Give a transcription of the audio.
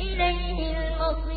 إِلَيْهِ الْمَصِيرُ